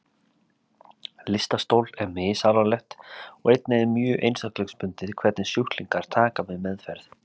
Lystarstol er misalvarlegt og einnig er mjög einstaklingsbundið hvernig sjúklingar taka við meðferð.